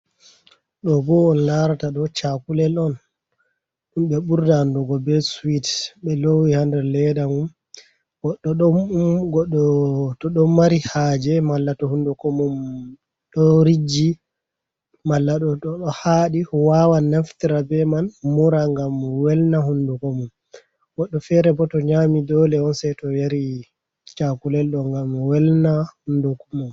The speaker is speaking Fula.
Ɗo bo on larata doo chakulel on. Ɗum be burɗa anɗugo be siwit. Be lowi ha nder leɗa mum. goɗɗo to ɗomari haje malla to hunɗuko mum ɗo rijji malla ɗo hari wawan naftira be man mura ngam mi welna hunɗuko mum. goɗɗo fere bo to nyami ɗoole onsai to yari chakulel ɗo ngam welna hunɗuko mum.